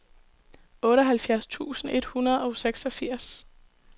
otteoghalvfjerds tusind et hundrede og seksogfirs